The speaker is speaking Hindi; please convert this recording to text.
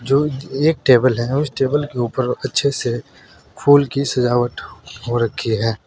जो एक टेबल है उस टेबल के ऊपर अच्छे से फूल की सजावट हो रखी है।